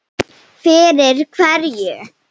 Fyrir hverju?